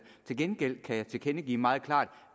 til gengæld kan jeg tilkendegive meget klart